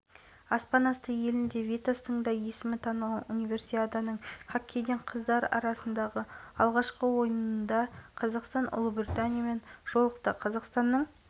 бұған дейін хабарланғандай ол витасты барша әлемге танытқан опера әнін орындады әнді витастың дауысынан модуляциямен тон жоғары орындаған димашқа тіпті қатысушылар